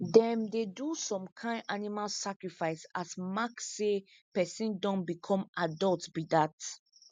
them dey do some kin animal sacrifice as mark say person don become adult be dat